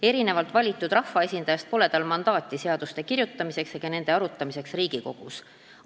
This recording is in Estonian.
Erinevalt valitud rahvaesindajast pole tal mandaati seaduste kirjutamiseks ega nende arutamiseks Riigikogus.